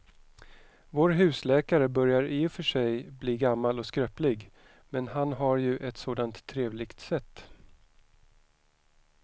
Vår husläkare börjar i och för sig bli gammal och skröplig, men han har ju ett sådant trevligt sätt!